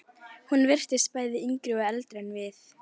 Hún virtist bæði yngri og eldri en við.